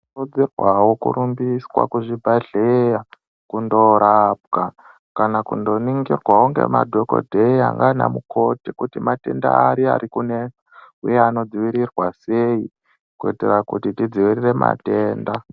Tinokuridzirwawo kurumbiswa kuzvibhadhleya kundoorapwa kana kundooningirwawo ngemadhokodheya nanamukoti kuti matenda ari arikunesa uye anodzivirirwa sei kuitira kuti tidvivirire matenda.